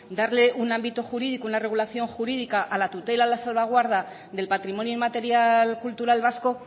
darle un ámbito jurídico una regulación jurídica a la tutela a la salvaguarda del patrimonio inmaterial cultural vasco